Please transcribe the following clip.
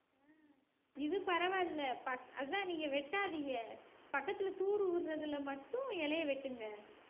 இது பரவாயில்லை பக்~ அதான் நீங்க வெட்டாதீங்க பக்கத்துல தூர் ஊறுதுல மட்டும் இலையை வெட்டுங்க